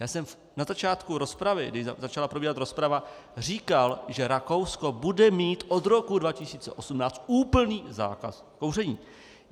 Já jsem na začátku rozpravy, když začala probíhat rozprava, říkal, že Rakousko bude mít od roku 2018 úplný zákaz kouření.